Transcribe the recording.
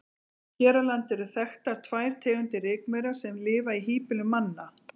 Hér á landi eru þekktar tvær tegundir rykmaura sem lifa í híbýlum manna.